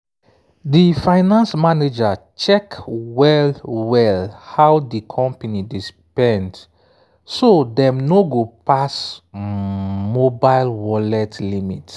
di finance manager check well-well how di company dey spend so dem no go pass um mobile wallet limit